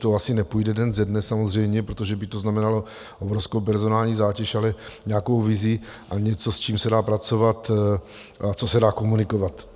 To asi nepůjde den ze dne samozřejmě, protože by to znamenalo obrovskou personální zátěž, ale nějakou vizi a něco, s čím se dá pracovat a co se dá komunikovat.